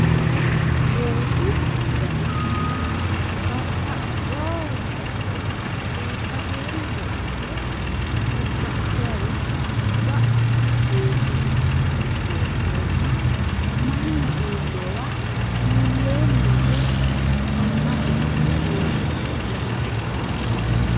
loosu dana babaxewo shaqaxe albaseenni wodhite dada'litayi no ga'a heeshshose woyyeesseemma mannu iilleewa iilleemma yite mannaho dancha lawishsha ikkitanni no.